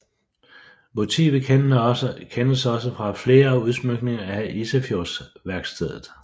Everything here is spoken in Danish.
Motivet kendes også fra flere udsmykninger af Isefjordsværkstedet